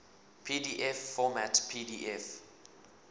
pdf format pdf